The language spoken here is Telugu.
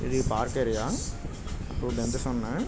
ఇది పార్క్ ఏరియా . టూ బెంచెస్ ఉన్నాయ్.